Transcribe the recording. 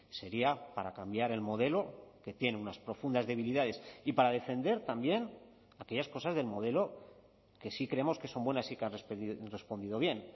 sería para cambiar el modelo que tiene unas profundas debilidades y para defender también aquellas cosas del modelo que sí creemos que son buenas y que han respondido bien